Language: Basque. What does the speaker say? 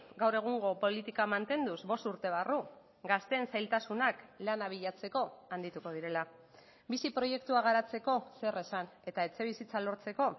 gaur egungo politika mantenduz bost urte barru gazteen zailtasunak lana bilatzeko handituko direla bizi proiektua garatzeko zer esan eta etxebizitza lortzeko